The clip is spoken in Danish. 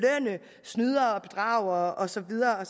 snydere og bedragere og så videre og